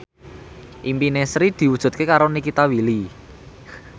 impine Sri diwujudke karo Nikita Willy